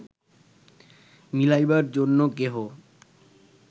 মিলাইবার জন্য কেহ